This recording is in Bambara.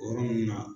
O yɔrɔ ninnu na